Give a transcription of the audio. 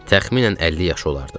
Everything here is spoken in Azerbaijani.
Təxminən 50 yaşı olardı.